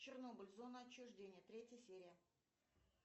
чернобыль зона отчуждения третья серия